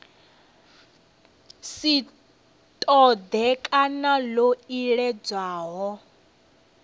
si ṱoḓee kana ḽo iledzwaho